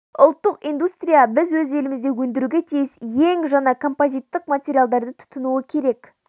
ұлттық индустрия біз өз елімізде өндіруге тиіс ең жаңа композиттік материалдарды тұтынуы керек